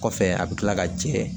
Kɔfɛ a bɛ kila ka jɛ